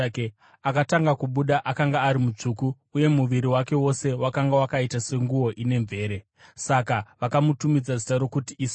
Akatanga kubuda akanga ari mutsvuku, uye muviri wake wose wakanga wakaita senguo ine mvere; saka vakamutumidza zita rokuti Esau.